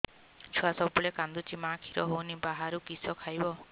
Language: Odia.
ଛୁଆ ସବୁବେଳେ କାନ୍ଦୁଚି ମା ଖିର ହଉନି ବାହାରୁ କିଷ ଖାଇବ